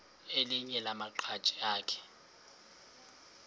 elinye lamaqhaji akhe